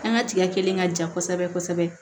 An ka tigɛ kelen ka jan kosɛbɛ kosɛbɛ